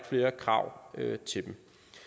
flere krav til dem